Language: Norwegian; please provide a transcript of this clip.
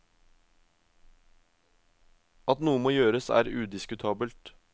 At noe må gjøres er udiskutabelt.